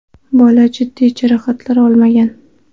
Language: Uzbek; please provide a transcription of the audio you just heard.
Bola jiddiy jarohatlar olmagan.